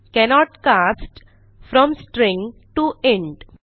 cannot cast from string T O int